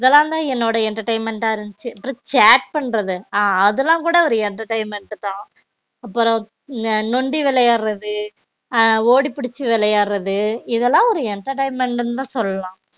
இதுலான் தான் என்னோட entertainment அ இருந்துச்சி அப்பறம் chat பண்றது அ அதுலான் கூட entertainment தான் அப்பறம் நொண்டி விளையாடுறது அ ஓடி புடிச்சி விளையாடுறது இதுலான் ஒரு entertainment தான் சொல்லாம்